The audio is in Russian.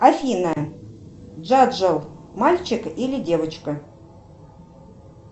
афина джоджо мальчик или девочка